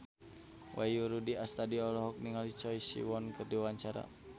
Wahyu Rudi Astadi olohok ningali Choi Siwon keur diwawancara